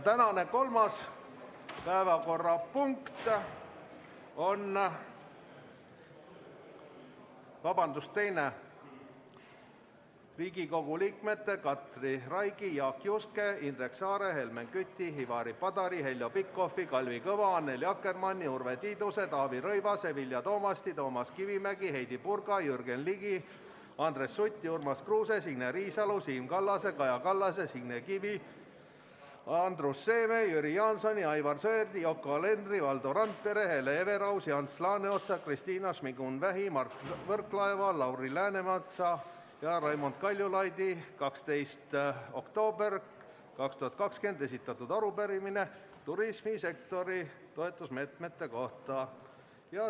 Tänane kolmas päevakorrapunkt on Riigikogu liikmete Katri Raigi, Jaak Juske, Indrek Saare, Helmen Küti, Ivari Padari, Heljo Pikhofi, Kalvi Kõva, Annely Akkermanni, Urve Tiiduse, Taavi Rõivase, Vilja Toomasti, Toomas Kivimägi, Heidy Purga, Jürgen Ligi, Andres Suti, Urmas Kruuse, Signe Riisalo, Siim Kallase, Kaja Kallase, Signe Kivi, Andrus Seeme, Jüri Jaansoni, Aivar Sõerdi, Yoko Alenderi, Valdo Randpere, Hele Everausi, Ants Laaneotsa, Kristina Šmigun-Vähi, Mart Võrklaeva, Lauri Läänemetsa ja Raimond Kaljulaidi 12. oktoobril 2020 esitatud arupärimine turismisektori toetusmeetmete kohta.